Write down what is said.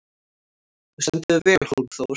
Þú stendur þig vel, Hólmþór!